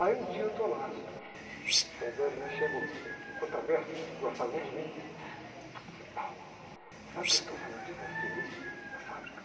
Aí um dia eu estou lá, soldando, chegou uh, o contra-mestre, que gostava muito de mim, disse, sabe o que estão falando de você aí, na fábrica?